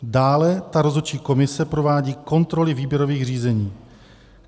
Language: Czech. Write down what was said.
"Dále ta rozhodčí komise provádí kontroly výběrových řízení.